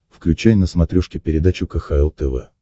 включай на смотрешке передачу кхл тв